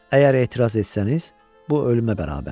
Əgər etiraz etsəniz, bu ölümə bərabərdir.